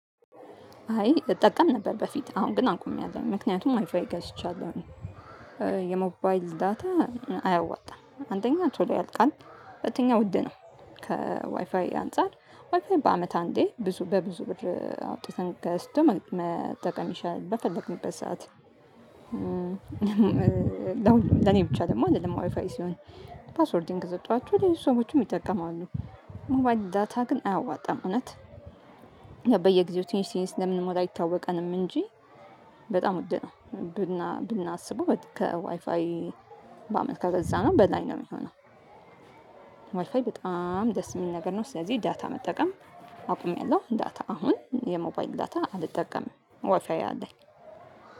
አይ እጠቀም ነበር በፊት አሁን ግን አቁምአለው ያ ምክንያቱም ዋይፋይ ገዝቻለሁኝ። የሞባይል ዳታ አያዋጣም አንደኛ ቶሎ ያልቃል ሁለተኛ ውድ ነው። ከዋይፋይ አንፃር ዋይፋይ በአመት አንዴ ብዙ በብዙ ብር አውጥተን ገዝቶ መጠቀም ይሻለል በፈለግንበት ሰዓት። ለኔ ብቻ ደግሞ አይደለም ዋይፋይ ሲሆን ፓስወርዲን ከሰጧችሁ ሌሎች ሰዎችም ይጠቀማሉ። ሞባይል ዳታ ግን አያዋጣም እውነት። በየጊዜው ትንሽ ትንሽ ስለምንሞላ አይታወቀንም እንጂ በጣም ውድ ነው። ብና ብናስበው ከዋይፋይ በአመት ከገዛነው በላይ ነው ሚሆነው። ዋይፋይ በጣም ደስ የሚል ነገር ነው። ስለዚህ ዳታ መጠቀም አቁሜያለሁ ዳታ አሁን የሞባይን ዳታ አልጠቀምም ዋፊያዬ አለ።